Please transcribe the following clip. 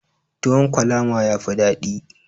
Tuwon kwalama yafi dadi.